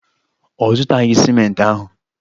Ọ zụtaghị ciment ahụ.